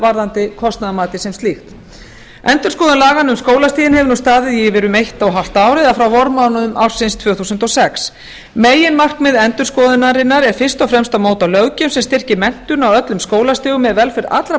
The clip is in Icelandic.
varðandi kostnaðarmatið sem slíkt endurskoðun laganna um skólastigin hefur nú staðið yfir í um eitt og hálft ár eða frá vormánuðum ársins tvö þúsund og sex meginmarkmið endurskoðunarinnar er fyrst og fremst að móta löggjöf sem styrkir menntun á öllum skólastigum með velferð allra